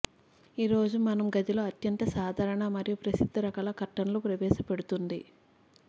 ఈ రోజు మనం గదిలో అత్యంత సాధారణ మరియు ప్రసిద్ధ రకాల కర్టన్లు ప్రవేశపెడుతుంది